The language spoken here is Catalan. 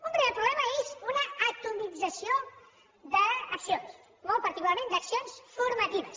un primer problema és una atomització d’accions molt particularment d’accions formatives